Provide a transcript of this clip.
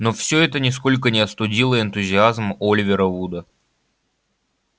но все это нисколько не остудило энтузиазм оливера вуда